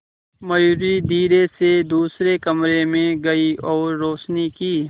मयूरी धीरे से दूसरे कमरे में गई और रोशनी की